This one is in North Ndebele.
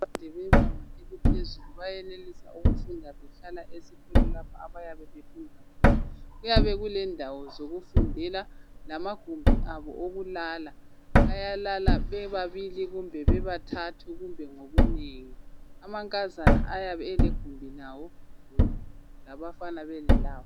Abafundi bebanga laphezulu lalabo abafunda imnfundo ephakemeyo benza izifundo zabo besebenzisa imitshina ekhanya ukuthi isetshenziswa ngodokotela abaqeqetshileyo.